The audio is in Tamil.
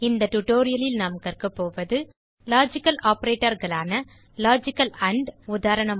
இந்த tutorialலில் நாம் கற்கப்போவதுLogical operatorகளான அம்பம்ப் லாஜிக்கல் ஆண்ட் உதாரணமாக